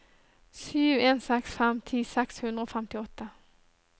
sju en seks fem ti seks hundre og femtiåtte